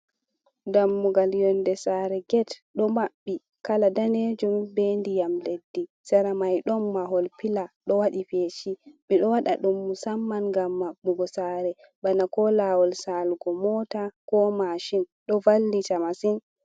Dammugal yonde sare get ɗo maɓɓi kala ɗanejum be ndiyam leddi, sera mai ɗon mahol pila ɗo waɗi feshi, ɓe ɗo waɗa dumy musamman ngam maɓɓugo sare bana ko lawol salugo mota, mashin, ɗo vallita masin.